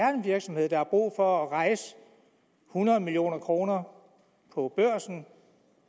er en virksomhed der har brug for at rejse hundrede million kroner på børsen